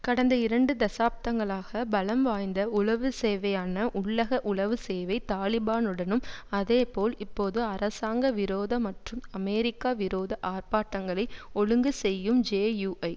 கடந்த இரண்டு தசாப்தங்களாக பலம் வாய்ந்த உளவு சேவையான உள்ளக உளவு சேவை தலிபானுடனும் அதேபோல் இப்போது அரசாங்க விரோத மற்றும் அமெரிக்கா விரோத ஆர்ப்பாட்டங்களை ஒழுங்கு செய்யும் ஜேயூஐ